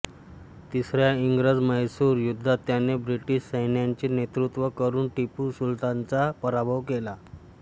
तिसऱ्या इंग्रजम्हैसूर युद्धात याने ब्रिटिश सैन्याचे नेतृत्त्व करून टिपू सुलतानचा पराभव केला